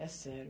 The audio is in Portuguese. É sério.